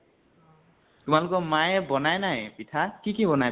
তোমালোকৰ মায়ে বনায় নাই পিঠা? কি কি বনায়